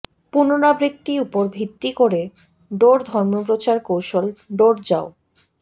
পুনরাবৃত্তি উপর ভিত্তি করে ডোর ধর্মপ্রচার কৌশল ডোর যাও